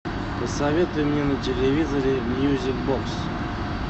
посоветуй мне на телевизоре мьюзик бокс